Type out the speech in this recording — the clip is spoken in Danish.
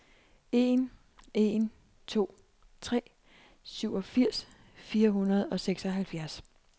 en en to tre syvogfirs fire hundrede og seksoghalvfjerds